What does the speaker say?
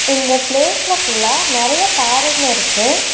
இந்த ப்ளேஸ்ல ஃபுல்லா நெறைய பாறைங்க இருக்கு.